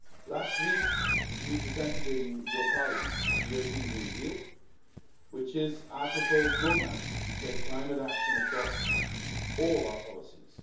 Last week we presented in your Parliament the European Green Deal, which is our proposed roadmap to take climate action across all our policies.